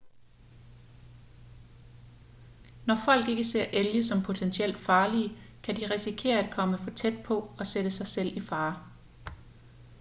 når folk ikke ser elge som potentielt farlige kan de risikere at komme for tæt på og sætte sig selv i fare